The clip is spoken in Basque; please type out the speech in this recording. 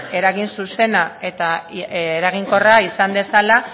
eragin zuzena eta eraginkorra izan dezala